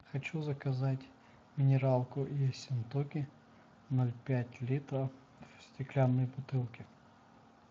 хочу заказать минералку ессентуки ноль пять литра в стеклянной бутылке